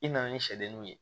I nana ni sɛdenninw ye